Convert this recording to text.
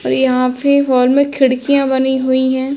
और यहाँ पे हॉल में खिडकियां बनी हुईं हैं।